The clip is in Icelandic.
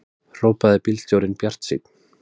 hrópaði bílstjórinn bjartsýnn.